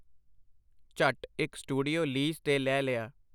ਝੱਟ ਇਕ studio lease ਤੇ ਲੈ ਲਿਆ.